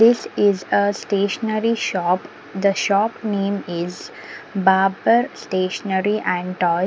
this is a stationary shop the shop name is baber stationary and toy.